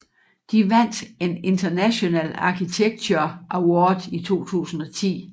Det vandt en International Architecture Awards i 2010